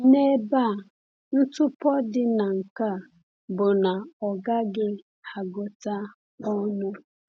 N’ebe a, ntụpọ dị na nke a bụ na ọ gaghị agụta ọnụ.